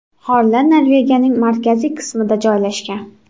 G‘orlar Norvegiyaning markaziy qismida joylashgan.